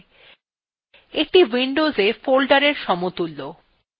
এইটি windows folders সমতুল্য